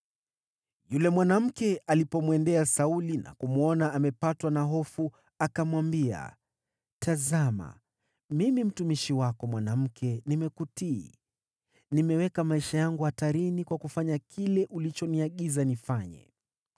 Yule mwanamke alipomwendea Sauli na kumwona amepatwa na hofu, akamwambia, “Tazama, mimi mtumishi wako mwanamke nimekutii. Nimeweka maisha yangu hatarini kwa kufanya kile ulichoniagiza nifanye.